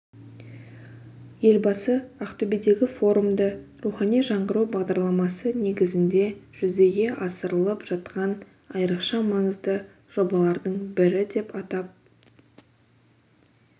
елбасы ақтөбедегі форумды рухани жаңғыру бағдарламасы негізінде жүзеге асырылып жатқан айрықша маңызды жобалардың бірі деп атап